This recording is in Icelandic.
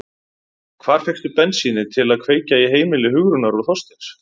Hvar fékkstu bensínið til að kveikja í heimili Hugrúnar og Þorsteins?